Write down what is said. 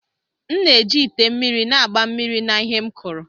M na-eji ite mmiri na-agba mmiri na ihe m kuru.